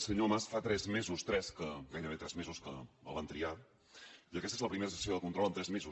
senyor mas fa tres mesos gairebé tres mesos que el van triar i aquesta és la primera sessió de control en tres mesos